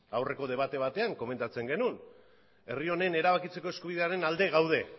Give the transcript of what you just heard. aurreko debate batean komentatzen genuen herri honen erabakitzeko eskubidearen alde gaudela